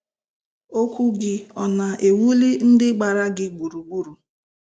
Okwu gị ọ na-ewuli ndị gbara gị gburugburu?